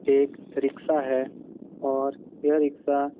एक रिक्शा है और यह रिक्शा --